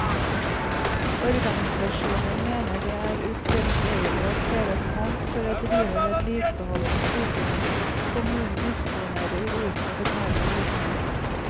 Organisasjonen mener det er utilbørlig å kreve pant for å drive vedlikehold på sykehjem kommunen disponerer uten å betale husleie.